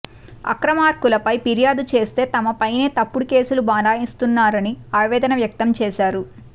అక్రమార్కులపై ఫిర్యాదు చేస్తే తమపైనే తప్పుడు కేసులు బనాయిస్తున్నారని ఆవేదన వ్యక్తం చేశారు